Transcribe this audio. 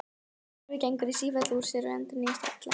Gervið gengur í sífellu úr sér og endurnýjast illa.